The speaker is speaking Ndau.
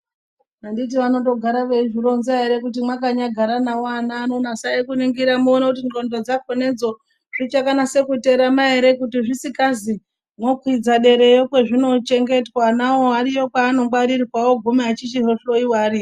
Anditi anondogara eizvironza ere kuti mwakanyagara navo vana nasai kuningira muone kuti ngxondo dzakhone dzo zvichakanasa kuterama ere? Kuti zvisikazi mwokwidza derayo kwazvinochengetwa. Anawo ariyo kwaanongwarirwa oguma eichindohloiwa ariyo